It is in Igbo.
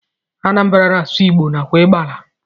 Anambra na asụ igbo nakwa igala.